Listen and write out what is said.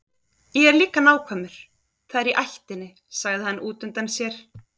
Ég er líka nákvæmur, það er í ættinni, sagði hann útundann sér.